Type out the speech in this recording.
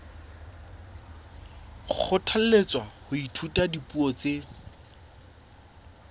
kgothalletswa ho ithuta dipuo tse